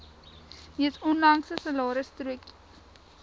mees onlangse salarisstrokie